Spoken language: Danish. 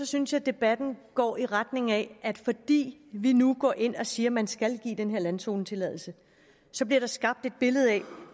synes jeg debatten går i retning af at fordi vi nu går ind og siger at man skal give den her landzonetilladelse så bliver der skabt et billede af